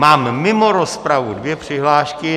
Mám mimo rozpravu dvě přihlášky.